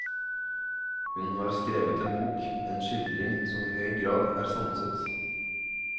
Hun har skrevet en bok, en skildring som i høy grad er sanset.